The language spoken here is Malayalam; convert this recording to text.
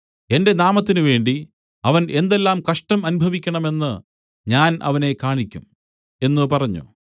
എന്റെ നാമത്തിനുവേണ്ടി അവൻ എന്തെല്ലാം കഷ്ടം അനുഭവിക്കേണമെന്ന് ഞാൻ അവനെ കാണിയ്ക്കും എന്ന് പറഞ്ഞു